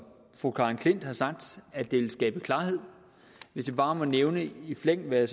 fru karen j klint har sagt at det vil skabe klarhed hvis jeg bare må nævne i flæng hvad jeg